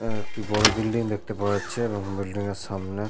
এবং একটি বড় বিল্ডিং দেখতে পাওয়া যাচ্ছে এবং বিল্ডিং -এর সামনে--